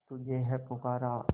तुझे है पुकारा